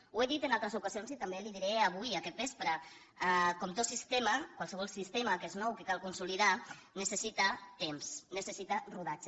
ho he dit en altres ocasions i també li ho diré avui aquest vespre com tot sistema qualsevol sistema que és nou que cal consolidar necessita temps necessita rodatge